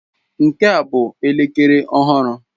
Nke a ọ bụ elekere ọhụrụ?